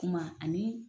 Kuma ani